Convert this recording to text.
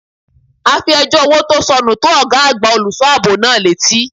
A fi ẹjọ́ owó tó sọnù tó ọgá àgbà olùṣọ́ àbò náà létí.